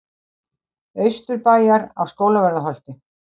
Austurbæjar á Skólavörðuholti.